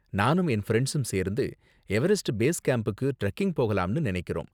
நானும் என் ஃபிரண்ட்ஸும் சேர்ந்து எவரெஸ்ட் பேஸ் கேம்புக்கு டிரெக்கிங் போகலாம்னு நினைக்கிறோம்.